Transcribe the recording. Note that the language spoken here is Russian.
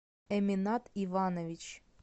эминат иванович